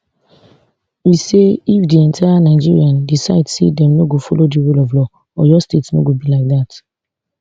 e say if di entire nigeria decide say dem no go follow di rule of law oyo state no go be like dat